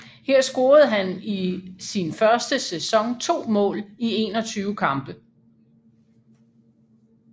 Her scorede han i sin første sæson 2 mål i 21 kampe